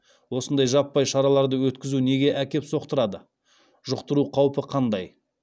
осындай жаппай шараларды өткізу неге әкеп соқтырады жұқтыру қаупі қандай